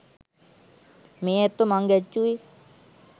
මේ ඇත්තෝ මං ගැච්චුවෙ